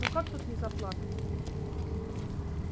ну как тут не заплакать